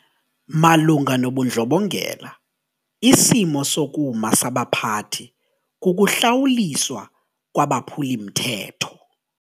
Malunga nobundlobongela isimo sokuma sabaphathi kukuhlawuliswa kwabaphuli-mthetho.